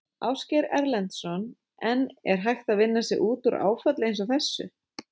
Ásgeir Erlendsson: En er hægt að vinna sig út úr áfalli eins og þessu?